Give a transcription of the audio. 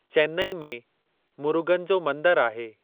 चेनई में मुर्गन जो मंदरु आहे।